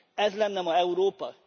Ez lenne ma Európa?